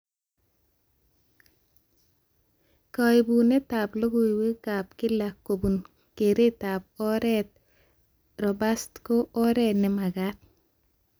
Kaibunetab logoiwekab kila kobun keretab oret robust ko oret nemagat